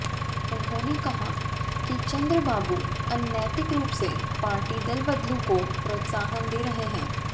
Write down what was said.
उन्होंने कहा कि चंद्रबाबू अनैतिक रूप से पार्टी दलबदलू को प्रोत्साहन दे रहे है